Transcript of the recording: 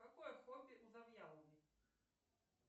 какое хобби у завьяловой